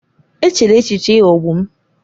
Echela echiche ịghọgbu m!